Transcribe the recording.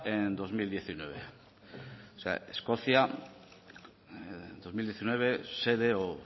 en dos mil diecinueve o sea escocia dos mil diecinueve sede o